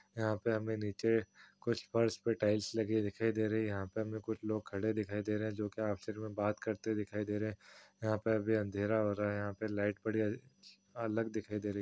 यहां पर हमें नीचे कुछ फर्श पर टाइल्स लगी दिखाई दे रही हैं। यहां पर हमें कुछ लोग खड़े हुए दिखाई दे रहे है जो कि आपस में कुछ बात करते दिखाई दे रहे है। यहां पर भी अँधेरा हो रहा है। यहां पे लाइट पड़ी अलग दिखाई दे रही --